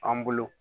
An bolo